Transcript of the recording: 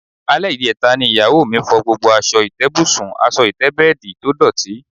Alé̩ ìje̩ta ni ìyàwó mi fo̩ gbogbo as̩o̩ ìté̩bùsùn/as̩o̩ ìté̩bè̩è̩dì tó dòtí